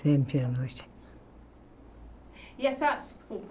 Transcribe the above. Sempre à noite. E a senhora desculpa